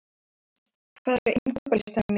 Hans, hvað er á innkaupalistanum mínum?